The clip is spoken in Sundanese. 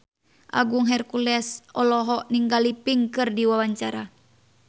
Agung Hercules olohok ningali Pink keur diwawancara